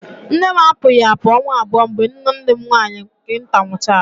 Nne m apụghị apụ ọnwa abụọ mgbe nwanne m nwaanyị nke nta nwụchaara